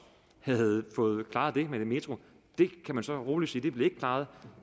havde fået klaret det med den metro det kan man så roligt sige ikke blev klaret